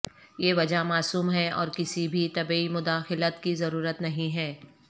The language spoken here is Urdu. یہ وجہ معصوم ہے اور کسی بھی طبی مداخلت کی ضرورت نہیں ہے